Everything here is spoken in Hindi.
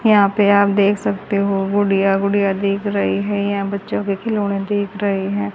यहां पे आप देख सकते हो गुड़िया गुड़िया दिख रही है यहां बच्चों के खिलौने देख रहे हैं।